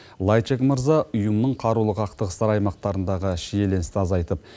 лайчак мырза ұйымның қарулы қақтығыстар аймақтарындағы шиеленісті азайтып